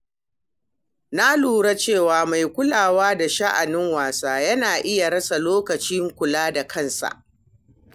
Na lura cewa mai kulawa da sha'anin wasu yana iya rasa lokacin kula da kansa.